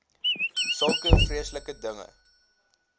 sulke vreeslike dinge